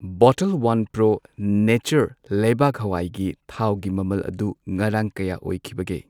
ꯕꯣꯇꯜ one pro nature ꯂꯩꯕꯥꯛ ꯍꯋꯥꯏꯒꯤ ꯊꯥꯎꯒꯤ ꯃꯃꯜ ꯑꯗꯨ ꯉꯔꯥꯡ ꯀꯌꯥ ꯑꯣꯏꯈꯤꯕꯒꯦ?